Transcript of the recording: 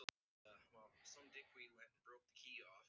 Rúnel, stilltu niðurteljara á þrjátíu og átta mínútur.